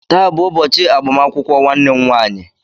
Taa bụ ụbọchị agbamakwụkwọ nwanne m nwaanyị